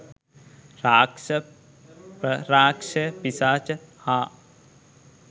රාක්ෂ, ප්‍රරාක්ෂස, පිශාච හා